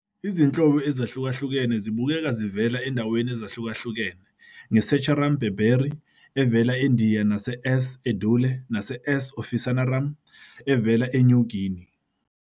Izinhlobo ezahlukahlukene zibukeka zivela ezindaweni ezahlukahlukene ngeSaccharum barberi evela eNdiya nase S. edule nase S. officinarum evela eNew Guinea.